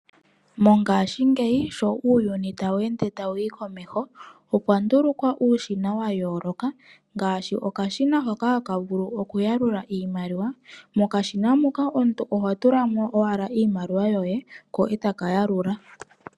Mongaashingeyi sho uuyuni tawu ende wuuka komeho, okwa ndulukwa uushina wa yooloka, ngashi okashina hoka haka vulu oku ya lula iimaliwa. Mokashina moka oho tulamo owala iimaliwa yoye, ko taka ya lula.